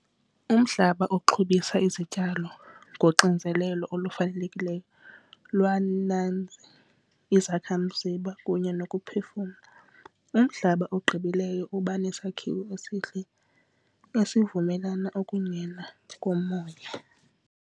Umhlaba oxhobisa izityalo ngoxinzelelo olufanelekileyo lwala izakhamzimba kunye nokuphefumla. Umhlaba ogqibileyo uba nesakhiwo esihle esivumelana ukungena komoya.